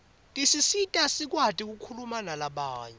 tisisita sikwati kukhuma nalabanye